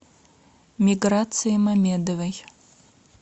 миграции мамедовой